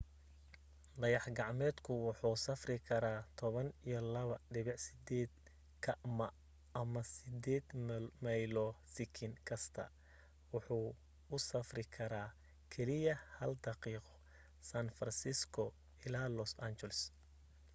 dayax gacmeedka wuxuu safraya 12.8 km ama 8 maylo sekin kasta wuxuu u safri kara keliya hal daqiiqo san francisco ilaa los angeles